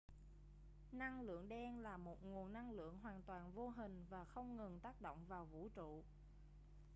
năng lượng đen là một nguồn năng lượng hoàn toàn vô hình và không ngừng tác động vào vũ trụ